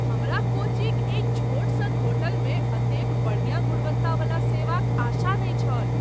हमरा कोच्चिक एहि छोट सन होटलमे एतेक बढ़िया गुणवत्तावला सेवाक आशा नहि छल।